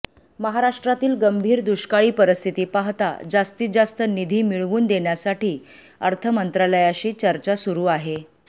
महाराष्ट्रातील गंभीर दुष्काळी परिस्थिती पाहता जास्तीत जास्त निधी मिळवून देण्यासाठी अर्थ मंत्रालयाशी चर्चा सुरू आहे